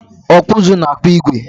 Ọkpụụzụ na-akpụ igwe.